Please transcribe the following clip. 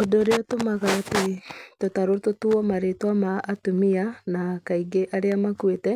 Ũndũ ũrĩa ũtũmaga atĩ tũtarũ tũtuwo marĩtwa ma atumia, na kaingĩ arĩa makuĩte,